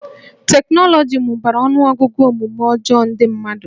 Teknọlọgi mụbara ọnụọgụgụ omume ọjọọ ndị mmadụ